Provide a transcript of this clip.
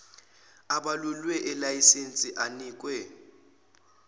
ebalulwe elayisensini anikwe